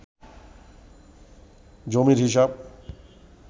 জমির হিসাব